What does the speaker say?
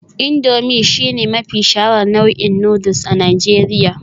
Indomie shine mafi shaharar nau'in noodles a Najeriya